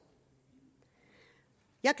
jeg